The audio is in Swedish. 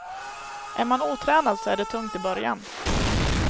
Är man otränad så är det tungt i början.